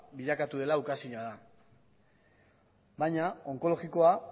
bilakatu dela ukaezina da baina onkologikoa